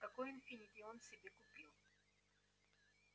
какой инфинити он себе купил